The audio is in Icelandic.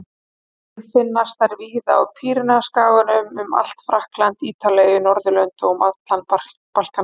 Einnig finnast þær víða á Pýreneaskaganum, um allt Frakkland, Ítalíu, Niðurlönd og um allan Balkanskaga.